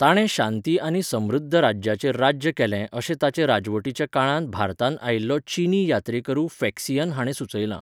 ताणें शांती आनी समृध्द राज्याचेर राज्य केलें अशें ताचे राजवटीच्या काळांत भारतांत आयिल्लो चीनी यात्रेकरू फॅक्सियन हाणें सुचयलां.